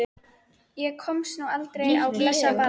Ég komst nú aldrei á blessað ballið.